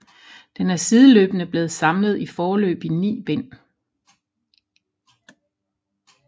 Den er sideløbende blevet samlet i foreløbig 9 bind